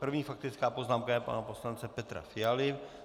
První faktická poznámka je pana poslance Petra Fialy.